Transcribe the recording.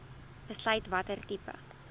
besluit watter tipe